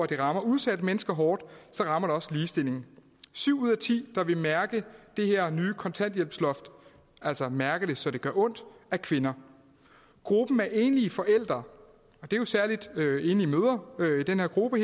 det rammer udsatte mennesker hårdt rammer det også ligestillingen syv ud af ti der vil mærke det her nye kontanthjælpsloft altså mærke det så det gør ondt er kvinder gruppen af enlige forældre det er jo særlig enlige mødre der er i den her gruppe